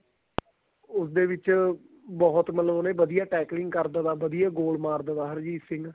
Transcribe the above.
ਉਸ ਦੇ ਵਿੱਚ ਬਹੁਤ ਮਤਲਬ ਉਹਨੇ ਵਧੀਆ tackling ਕਰਦੋ ਕਰਦੋ goal ਮਾਰਦੋ ਬਾਹਰ ਹਰਜੀਤ ਸਿੰਘ